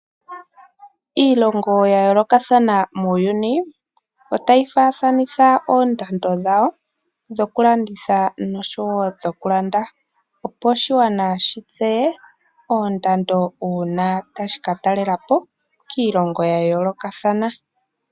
Iilongo ya yoolokathana muuyuni otayi faathanitha oondando dhawo dhoku landitha noshowo dhoku landa, opo oshigwana shi tseye oondando uuna tashi ka talela po kiilongo ya yoolokathana.